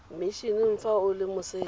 mmisheneng fa o le moseja